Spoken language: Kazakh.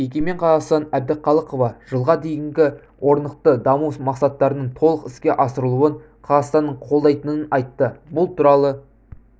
егемен қазақстан әбдіқалықова жылға дейінгі орнықты даму мақсаттарының толық іске асырылуын қазақстанның қолдайтынын айтты бұл туралы